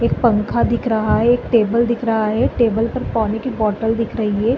एक पंखा दिख रहा है एक टेबल दिख रहा है टेबल पर पानी की बोतल दिख रही है।